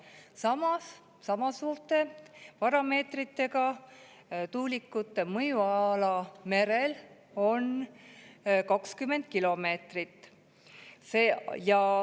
Samas, sama suurte parameetritega tuulikute mõjuala merel on 20 kilomeetrit.